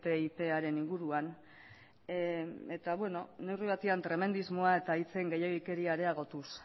ttiparen inguruan eta beno neurri batean tremendismoa eta hitzen gehiegikeria ere areagotuz